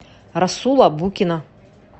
расула букина